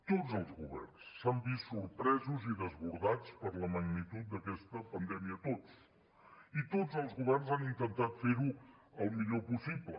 tots els governs s’han vist sorpresos i desbordats per la magnitud d’aquesta pandèmia tots i tots els governs han intentat fer ho el millor possible